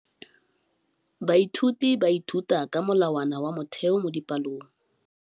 Baithuti ba ithuta ka molawana wa motheo mo dipalong.